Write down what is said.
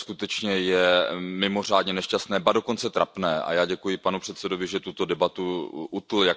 To skutečně je mimořádně nešťastné, ba dokonce trapné a já děkuji panu předsedajícímu, že tuto debatu utnul.